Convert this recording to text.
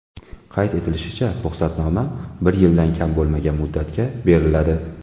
Qayd etilishicha, ruxsatnoma bir yildan kam bo‘lmagan muddatga beriladi.